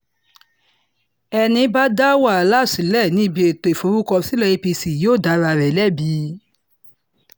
ẹní bá dá wàhálà sílẹ̀ níbi ètò ìforúkọsílẹ̀ apc yóò dá ara rẹ̀ lẹ́bi